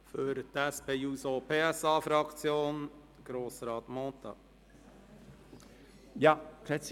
Für die SP-JUSO-PSA-Fraktion hat Grossrat Mentha das Wort.